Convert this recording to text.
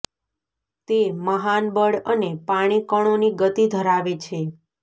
તે મહાન બળ અને પાણી કણોની ગતિ ધરાવે છે